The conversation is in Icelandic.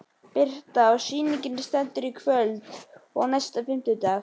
Birta: Og sýningin stendur í kvöld og næsta fimmtudag?